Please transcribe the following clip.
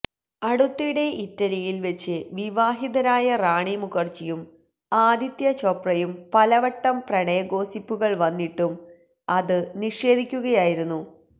അടുത്തിടെ ഇറ്റലിയില് വച്ച് വിവാഹിതരായ റാണി മുഖര്ജിയും ആദിത്യ ചോപ്രയും പലവട്ടം പ്രണയഗോസിപ്പുകള് വന്നിട്ടും അത് നിഷേധിയ്ക്കുകയായിരുന്നു